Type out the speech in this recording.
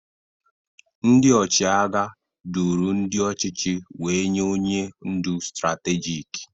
Ndị ọchịagha duru ndị ọchịchị wee nye onye ndu stratejik.